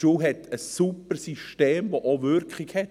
Die Schule hat ein super System, das Wirkung zeigt.